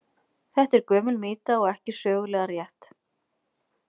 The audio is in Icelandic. Þetta er gömul mýta og ekki sögulega rétt.